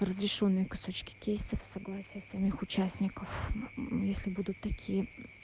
разрешённые кусочки кейсов с согласия самих участников если будут такие